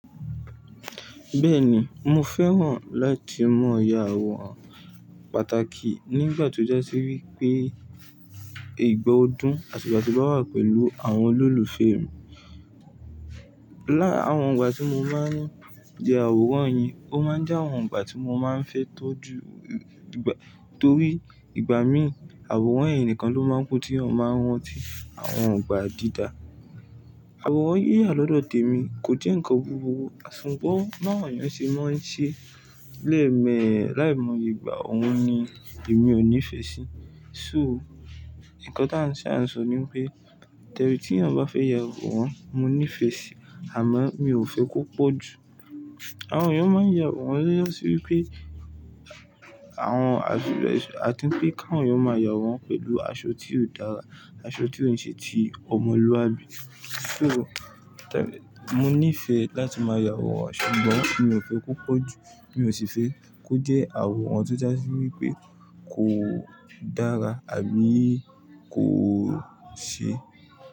Bẹ́ẹ̀ni, mo fẹ́ràn láti mọ yà àwòrán pàtàkì nígbà tí ó jásí wípé ìgbà ọdún, àti ìgbà tí ń bà wà pẹ̀lú àwọn olùlùfẹ́ mi. Láàwọn ìgbà tí mo máa ń jẹ àwòrán yin, ó máa ń jẹ́ àwọn ìgbà tí mo máa ń fẹ́ tọ́jú ìgbà, torí ìgbà mí ì àwòrán yen nìkan ló máa ń ku tí eeyan máa ń ranti àwọn ìgbà dídá. Àwòrán yíyà lọ́dọ̀ tèmi kò jẹ́ ǹkan búburú ṣùgbọ̀n báwon eeyán ṣe máa ń ṣe léème láì moye gbà òun ni èmi ò nífẹ̀ẹ́ sí. So ǹkan tí à sa ń sọ ni pé tẹrí tí ẹeyan bá fẹ́ ya àwòrán, mo nífẹ̀ẹ́ sí i àmọ́ mi ò fẹ́ kó pọ̀jù. Àwọn èèyàn máa ń ya àwòrán tọ́ja sí wípé àwọn a ti rí pé káwọn èèyàn máa yawọran pẹ̀lú aṣọ tí ó dára, aṣọ tí ò ń ṣe ti ọmọlúwàbí. So tẹ́rí mo nífẹ̀ẹ́ láti máa ya àwòrán ṣùgbọ́n mi ò fẹ́ kó pọ̀jù, mi ò sì fẹ́ kó jẹ́ àwòrán tí ó jásí wípé kò dára àbí kò ṣe.